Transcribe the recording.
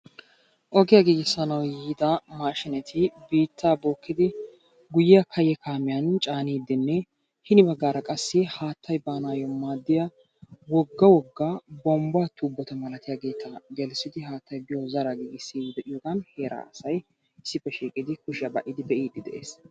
oge giigissanaw yiida maashineti biittaa bookidi guyyee kayye kaamiyaan caanidenne hini baggaara qa haattay baanayyo maaddiya wogga wogga bombba tuubota malatiyaageeta gelissidi haattaybiyo zaraa giigisside de'iyoogan heeraa asay issippe shiiqidi kushiyaa ba'idi be'ide de'ees.